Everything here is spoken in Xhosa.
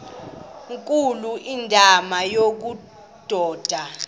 nkulu indima yobudoda